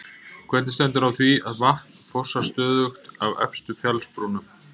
Hvernig stendur á því að vatn fossar stöðugt af efstu fjallsbrúnum?